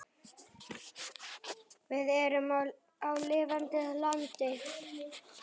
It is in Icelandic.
Við erum á lifandi landi.